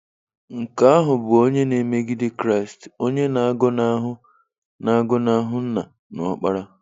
Nke ahụ bụ onye na-emegide Kraịst, onye na-agọnahụ na-agọnahụ Nna na Ọkpara.